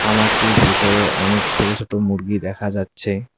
খামারটির ভিতরে অনেক ছোট ছোট মুরগি দেখা যাচ্ছে।